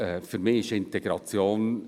Für mich ist Integration …